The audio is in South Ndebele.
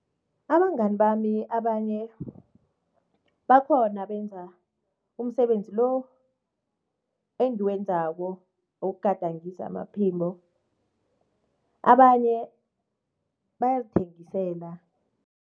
Abangani bami abanye bakhona abenza umsebenzi lo engiwenzako wokugadangisa amaphimbo, abanye bayazithengisela.